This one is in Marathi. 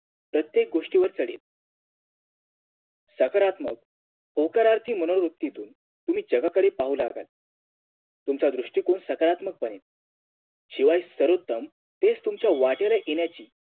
प्रत्येक गोष्टीवर चडेल सकारात्मक होकारार्थी मनोवृत्तीतून तुम्ही जगाकडे पाहू लागाल तुमचा दृष्टिकोन सकारात्मक बनेल शिवाय सर्वोत्तम तेच तुमच्या वाटेल येण्याची